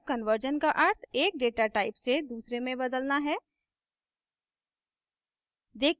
type conversion का अर्थ एक data type से दूसरे में बदलना है